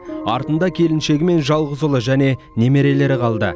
артында келіншегі мен жалғыз ұлы және немерелері қалды